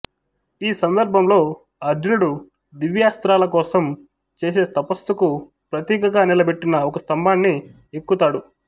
ఈ సందర్భంలో అర్జునుడు దివాస్త్రాల కోసం చేసే తపస్సుకు ప్రతీకగా నిలబెట్టిన ఒక స్తంభాన్ని ఎక్కు తాడు